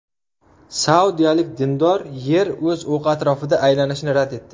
Saudiyalik dindor Yer o‘z o‘qi atrofida aylanishini rad etdi.